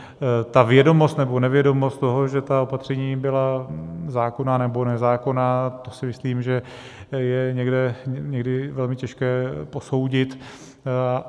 Ta vědomost nebo nevědomost toho, že ta opatření byla zákonná nebo nezákonná, to si myslím, že je někdy velmi těžké posoudit.